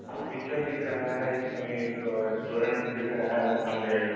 Picture दिख रहा है। इसमें एक रेस्टोरेंट दिख रहा है जहाँ पे --